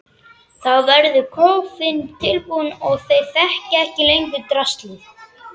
Þá verður kofinn tilbúinn og þeir þekkja ekki lengur draslið.